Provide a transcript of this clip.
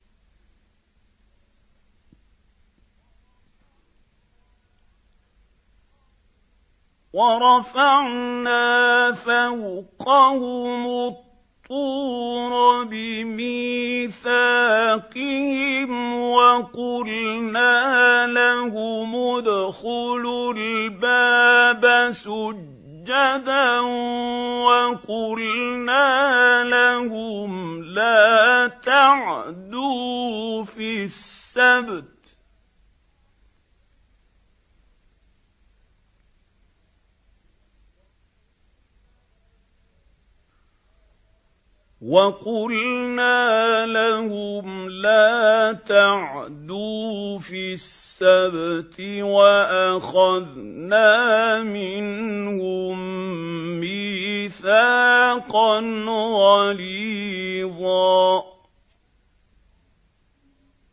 وَرَفَعْنَا فَوْقَهُمُ الطُّورَ بِمِيثَاقِهِمْ وَقُلْنَا لَهُمُ ادْخُلُوا الْبَابَ سُجَّدًا وَقُلْنَا لَهُمْ لَا تَعْدُوا فِي السَّبْتِ وَأَخَذْنَا مِنْهُم مِّيثَاقًا غَلِيظًا